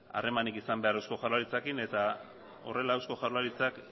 harremanik izan behar eusko jaurlaritzarekin eta horrela eusko jaurlaritzak